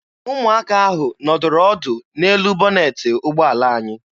Ụmụaka ahụ nọdụrụ ọdụ n'elu bọnetị ụgbọala anyị.